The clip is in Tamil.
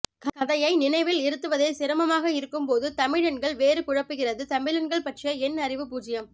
கதையை நினைவில் இருத்துவதே சிரமமாக இருக்கும்போதுதமிழ் எண்கள் வேறு குழப்புகிறது தமிழெண்கள் பற்றிய என் அறிவு பூஜ்யம்